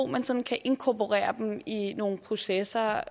man sådan kan inkorporere dem i nogle processer